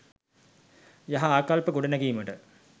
යහ ආකල්ප ගොඩනැඟීමට